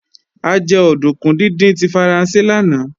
A jẹ òdùnkún díndín tí Faransé lánàá